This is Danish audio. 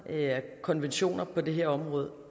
konventioner på det her område